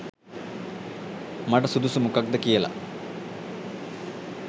මට සුදුසු මොකක්ද කියලා.